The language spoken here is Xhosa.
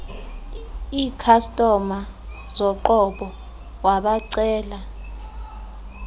ikhastoma zoqobo wabacela